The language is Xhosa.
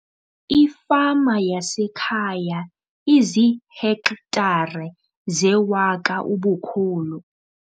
Ifama yasekhaya iziihektare zewaka ubukhulu.